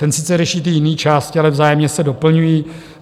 Ten sice řeší ty jiné části, ale vzájemně se doplňují.